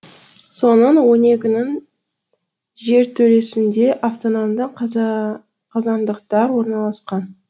соның он екінің жертөлесінде автономды қазандықтар орналасқан